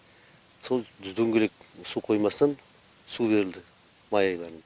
сол дөңгелек су қоймасынан су берілді май айларында